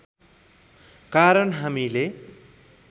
कारण हामीले